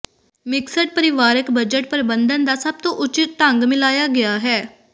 mixed ਪਰਿਵਾਰਕ budget ਪ੍ਰਬੰਧਨ ਦਾ ਸਭ ਤੋਂ ਉਚਿੱਤ ਢੰਗ ਮਿਲਾਇਆ ਗਿਆ ਹੈ